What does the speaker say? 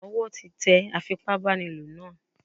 Ọwọ́ tí tẹ afipá báni lò náà.